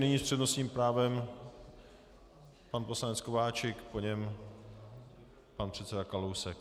Nyní s přednostním právem pan poslanec Kováčik, po něm pan předseda Kalousek.